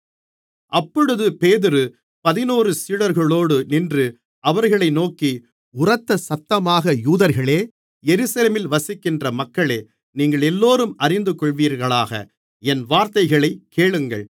அப்பொழுது பேதுரு பதினொரு சீடர்களோடு நின்று அவர்களை நோக்கி உரத்த சத்தமாக யூதர்களே எருசலேமில் வசிக்கின்ற மக்களே நீங்களெல்லோரும் அறிந்துகொள்வீர்களாக என் வார்த்தைகளைக் கேளுங்கள்